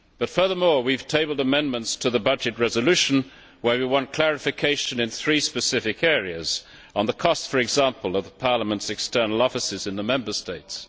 Furthermore, we have tabled amendments to the budget resolution where we want clarification in three specific areas on the costs, for example, of Parliament's external offices in the Member States